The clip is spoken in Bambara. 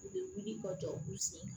U bɛ wuli ka jɔ u b'u sen